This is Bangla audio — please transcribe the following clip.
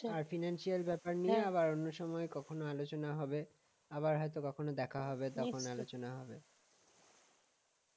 আর financial ব্যাপার নিয়ে অন্য সময় কখনও আলোচনা হবে আবার হয়তো বা কখনো দেখা হবে তখন আলোচনা হবে